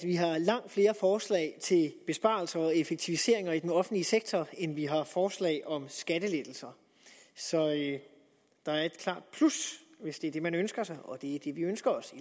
vi har langt flere forslag til besparelser og effektiviseringer i den offentlige sektor end vi har forslag om skattelettelser så der er et klart plus hvis det er det man ønsker sig og det er det vi ønsker os